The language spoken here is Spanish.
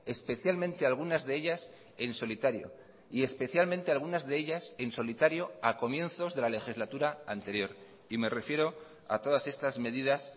especialmente algunas de ellas en solitario y especialmente algunas de ellas en solitario a comienzos de la legislatura anterior y me refiero a todas estas medidas